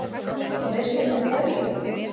Og veistu með hverjum?